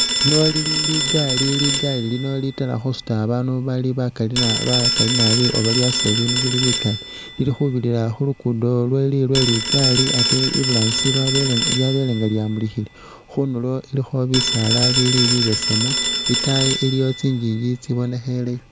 Lino Lili ligaali, ligaali lino litaala khusuta abaanu bali bakaali na bakaali naabi oba lyasuta ibiinu bili bikaali lilikhubirira khulugudo lwe lwe ligaali atee iburangisi lyabelenga nga lyamulikhile khundulo ilikho bisaala bili bibesemu itaayi iliwo tsinjinji tsibonekheleyo